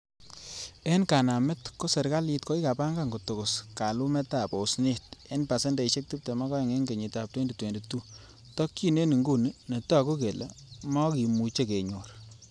En kanamet, ko serkalit kokipangan kotokos kalumetab osnot en pasendeisiek tibtem ak oeng en kenyitab 2022,tokyin en inguni netogu kele mokimuche kenyor.